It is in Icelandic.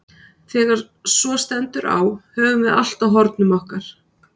Þegar svo stendur á höfum við allt á hornum okkar.